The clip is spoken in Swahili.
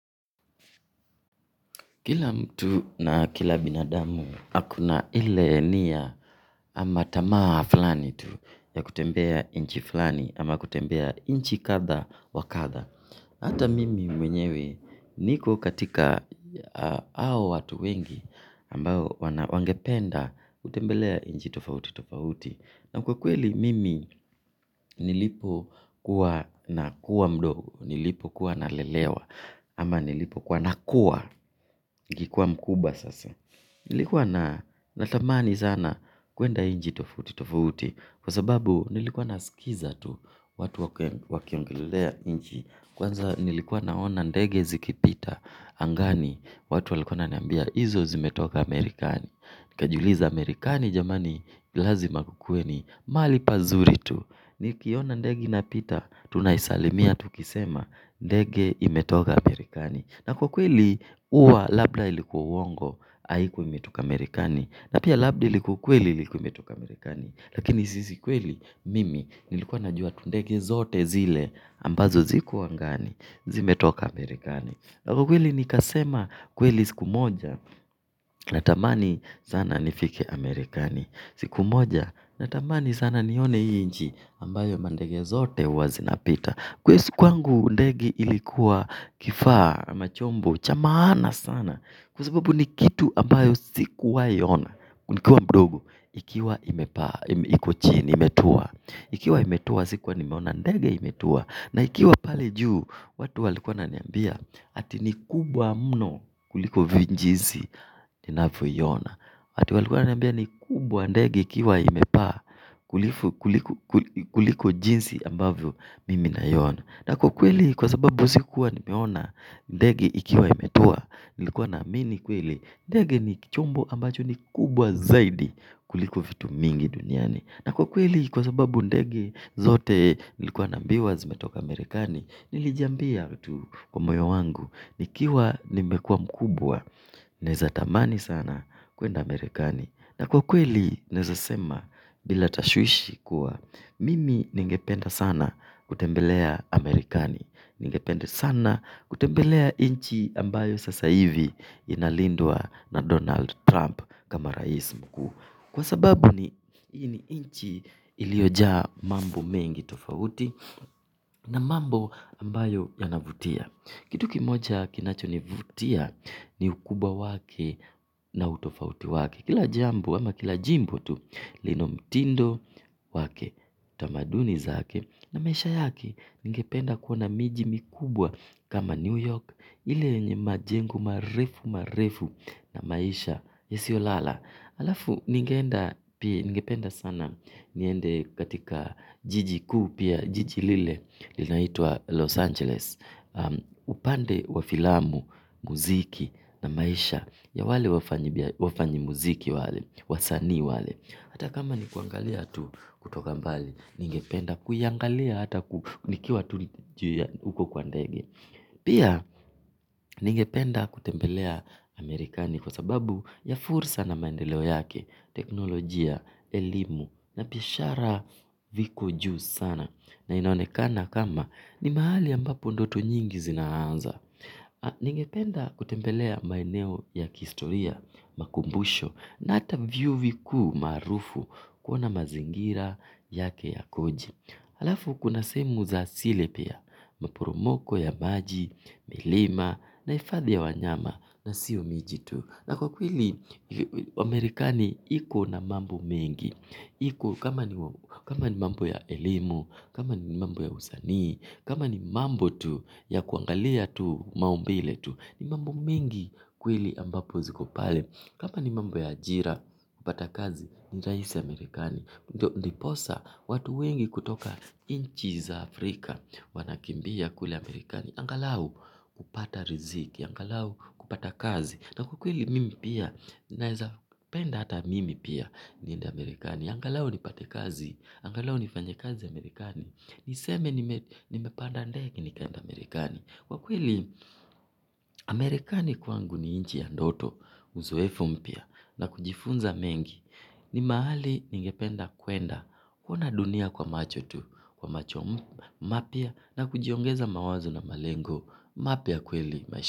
Kila mtu na kila binadamu akona ile nia ama tamaa fulani tu ya kutembea nchi fulani ama kutembea nchi kadha wa kadha hata mimi mwenyewe niko katika hao watu wengi ambao wangependa kutembelea nchi tofauti tofauti na kwa kweli mimi nilipo kuwa nakuwa mdogo, nilipo kuwa nalelewa, ama nilipo kuwa nakuwa, nilikuwa mkubwa sasa nilikuwa natamani sana, kwenda nchi tofauti, tofauti, kwa sababu nilikuwa naskiza tu, watu wakiongelea nchi. Kwanza nilikuwa naona ndege zikipita, angani, watu walikuwa wananiambia, izo zimetoka amarekani. Nikajuliza Amerikani jamani lazima kukue ni mali pazuri tu nikiona ndege inapita tunaisalimia tukisema ndege imetoka Amerikani na kweli huwa labda ilikuwa uongo haikuwa imetoka Amerikani na pia labda ilikuwa ukweli ilikuwa imetoka Amerikani. Lakini si kweli mimi nilikuwa najua tu ndege zote zile ambazo zilikwu angani zimetoka Amerikani. Kwa kweli nikasema kweli siku moja na tamani sana nifike Amerikani. Siku moja na tamani sana nione hii nchi ambayo mandege zote huwa zinapita kwangu ndege ilikuwa kifaa ama chombo cha maana sana kwa sababu ni kitu ambayo sikuwa ona nikiwa mdogo ikiwa imepaa, iko chini, imetua ikiwa imetua sikuwa nimeona ndege imetua na ikiwa pale juu watu walikuwa wananiambia ati ni kubwa mno kuliko jinsi ninavyoiona watu walikuwa wananimbia ni kubwa ndege ikiwa imepaa kuliko jinsi ambavyo mimi naiona na kwa kweli kwa sababu sikuwa nimeona ndege ikiwa imetua nilikuwa na amini kweli ndege chombo ambacho ni kubwa zaidi kuliko vitu mingi duniani na kwa kweli, kwa sababu ndege zote nilikuwa naambiwa zimetoka amerikani nilijiambia tu kwa moyo wangu nikiwa nimekuwa mkubwa naeza tamani sana kwenda Amerikani na kwa kweli naeza sema bila tashwishi kuwa mimi ningependa sana kutembelea Amerikani. Ningependa sana kutembelea nchi ambayo sasa hivi inalindwa na Donald Trump kama rais mkuu kwa sababu ni hii nchi ilioja mambo mengi tofauti na mambo ambayo yanavutia. Kitu kimoja kinacho nivutia ni ukubwa wake na utofauti wake. Kila jambu ama kila jimbo tu lina mtindo wake tamaduni zake na maisha yake ningependa kuona miji mikubwa kama New York. Ile nye majengo marefu marefu na maisha yasiolala. Alafu ningeenda pia ningependa sana niende katika jiji ku pia jiji lile linaitua Los Angeles upande wa filamu muziki na maisha ya wale wafanyimuziki wale wasaani wale hata kama ni kuangalia tu kutoka mbali, ningependa kuyangalia hata kunikiwa tu uko kwa ndege. Pia, ningependa kutembelea Amerikani kwa sababu ya fursa na maendeleo yake, teknolojia, elimu, na pishara viko juu sana. Na inaonekana kama ni mahali ambapo ndoto nyingi zinaanza. Ningependa kutembelea maeneo ya kihistoria makumbusho na ata vyuo vikuu maarufu kuna mazingira yake yakoje. Alafu kuna sehemu za sile pia, maporomoko ya maji, milima na ifadhi ya wanyama na sio miji tu. Na kwa kweli wa Amerikani iko na mambo mengi, kama ni mambo ya elimu, kama ni mambo ya usanii, kama ni mambo tu ya kuangalia tu maumbile tu, ni mambo mengi kweli ambapo zikopale. Kama ni mambo ya ajira kupata kazi ni rahisi Amerikani ndiposa watu wengi kutoka nchi za Afrika wanakimbia kule Amerikani angalau kupata riziki angalau kupata kazi na kwa kweli mimi pia naeza penda hata mimi pia niende Amerikani angalau nipate kazi angalau nifanya kazi Amerikani. Niseme nimepanda ndege nikaenda Amerikani. Kwa kweli amerikani kwangu ni nchi ya ndoto. Uzoefo mpya na kujifunza mengi ni mahali ningependa kuenda kuona dunia kwa macho tu kwa macho mpya na kujiongeza mawazo na malengo mpya kweli maisha.